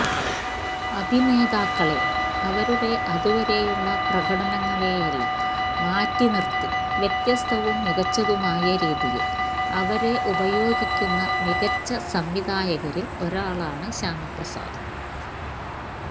അഭിനേതാക്കളെ അവരുടെ അതുവരെയുള്ള പ്രകടനങ്ങളെയെല്ലാം മാറ്റി നിർത്തി വ്യത്യസ്തവും മികച്ചതുമായ രീതിയിൽ അവരെ ഉപയോഗിക്കുന്ന മികച്ച സംവിധായകരിൽ ഒരാളാണ് ശ്യാമപ്രസാദ്